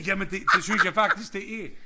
Jamen det det synes jeg faktisk det er